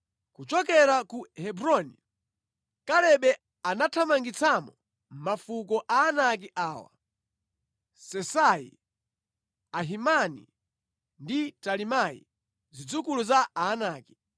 Kuchokera ku Hebroni, Kalebe anathamangitsamo mafuko a Aanaki awa: Sesai, Ahimani ndi Talimai, zidzukulu za Aanaki.